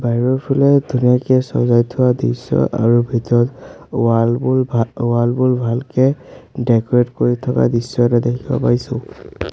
বাহিৰৰফালে ধুনীয়াকে চজাই থোৱা দৃশ্য আৰু ভিতৰত ৱাল বোৰ ভা ৱাল বোৰ ভালকে ডেক'ৰেট কৰি থকা দৃশ্য এটা দেখিব পাইছোঁ।